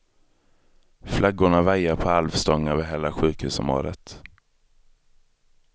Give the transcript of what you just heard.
Flaggorna vajar på halv stång över hela sjukhusområdet.